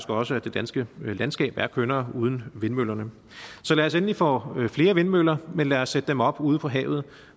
også at det danske landskab er kønnere uden vindmøllerne så lad os endelig få flere vindmøller men lad os sætte dem op ude på havet